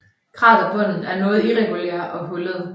Kraterbunden er noget irregulær og hullet